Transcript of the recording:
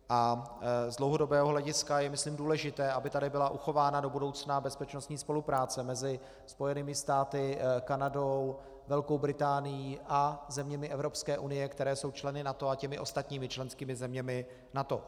A z dlouhodobého hlediska je myslím důležité, aby tady byla uchována do budoucna bezpečnostní spolupráce mezi Spojenými státy, Kanadou, Velkou Británií a zeměmi Evropské unie, které jsou členy NATO, a těmi ostatními členskými zeměmi NATO.